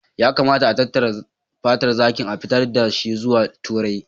Ya kamata a tattara fatar zaki, a fitar da shi zuwa Turai